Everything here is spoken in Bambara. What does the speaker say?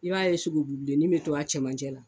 I b'a ye sugu bilenin bɛ to a cɛmancɛ la.